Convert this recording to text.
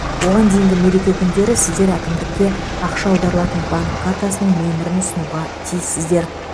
оған дейінгі мереке күндері сіздер әкімдікке ақша аударылатын банк картасының нөмірін ұсынуға тиіссіздер